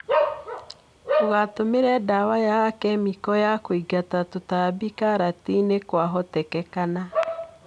Ndũgatũmĩre dawa ya kemiko ya kũingata tũtambi karatinĩ kwahotekekana.